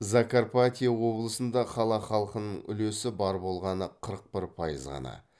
закарпатье облысында қала халқынын үлесі бар болғаны қырық бір пайыз ғана